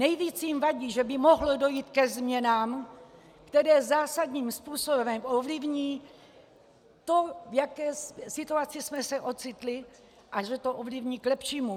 Nejvíc jim vadí, že by mohlo dojít ke změnám, které zásadním způsobem ovlivní to, v jaké situaci jsme se ocitli, a že to ovlivní k lepšímu.